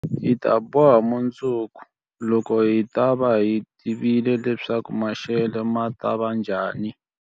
Hi ta boha mundzuku, loko hi ta va hi tivile leswaku maxelo ma ta va njhani.